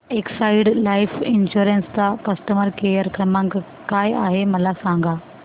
Exide life insurance चा customer care क्रमांक काय आहे मला सांगा